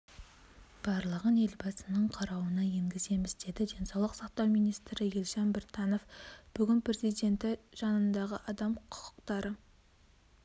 барлығын елбасының қарауына енгіземіз деді денсаулық сақтау министрі елжан біртанов бүгін президенті жанындағы адам құқықтары